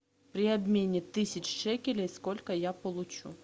при обмене тысячи шекелей сколько я получу